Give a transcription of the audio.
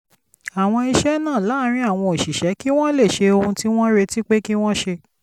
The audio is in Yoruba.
àwọn iṣẹ́ náà láàárín àwọn òṣìṣẹ́ kí wọ́n lè ṣe ohun tí wọ́n retí pé kí wọ́n ṣe